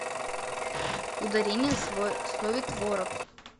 ударение в слове творог